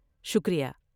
شکریہ۔